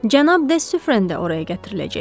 Cənab de Sufrən də oraya gətiriləcək.